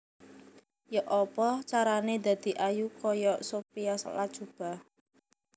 Yok opo carane dadi ayu koyok Sophia Latjuba